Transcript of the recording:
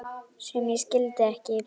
sem ég skildi ekki